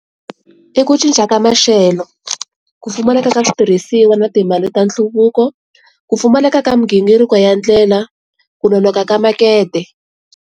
I ku cinca ka maxelo, ku pfumaleka ka switirhisiwa na timali ta nhluvuko, ku pfumaleka ka migingiriko ya ndlela, ku nonoka ka makete.